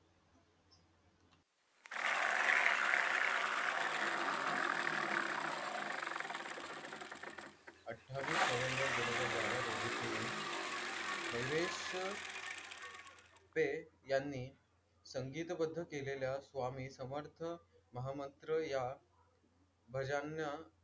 अठ्ठावीस नोव्हेंबर दोन हजार बारा रोजी तिने मयुरेश पै यांनी संगीतबद्ध केलेल्या स्वामी समर्थ महामंत्र या भजनांचा,